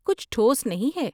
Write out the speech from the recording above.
کچھ ٹھوس نہیں ہے۔